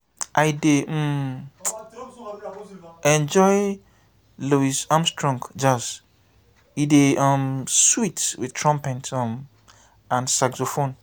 i dey um enjoy louis armstrong jazz e dey um sweet wit trumpet um and saxophone.